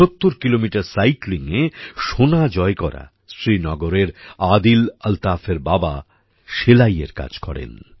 ৭০ kilometre সাইক্লিংএ সোনা জয় করা শ্রীনগরের আদিল আলতাফের বাবা সেলাইয়ের কাজ করেন